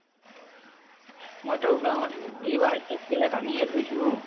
মইতো গাঁৱ্ত এইবাৰ এক plate আনিয়ে থৈছো।